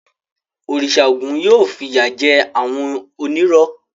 Òrìṣà Ògún yóò fìyà jẹ àwọn onírọ́.